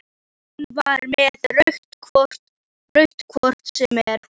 Hún var með rautt hvort sem er.